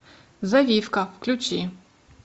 завивка включи